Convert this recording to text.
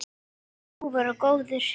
Afi var ljúfur og góður.